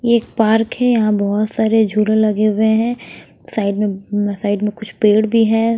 एक पार्क है यहां बहोत सारे झूले लगे हुए हैं साइड में साइड में कुछ पेड़ भी है।